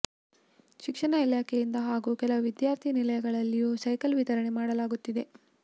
ಶಿಕ್ಷಣ ಇಲಾಖೆಯಿಂದ ಹಾಗೂ ಕೆಲವು ವಿದ್ಯಾರ್ಥಿ ನಿಲಯಗಳಲ್ಲಿಯೂ ಸೈಕಲ್ ವಿತರಣೆ ಮಾಡಲಾಗುತ್ತಿದೆ